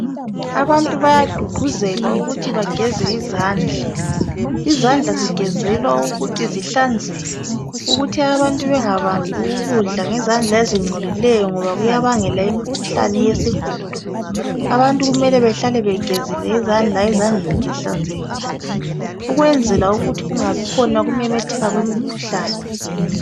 Abantu bayagqugquzelwa ukuthi bageze izandla. Izandla zigezelwa ukuthi zihlanzeke ukuthi abantu bengabambi ukudla ngezandla ezingcolileyo ngoba kuyabangela imikhuhlane yesihudo. Abantu kumele bahlale begezile izandla zihlanzekile ukwenzela ukuthi kungabikhona ukumemetheka kwemikhuhlane